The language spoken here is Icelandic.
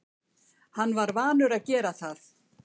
Hann var vanur að gera það.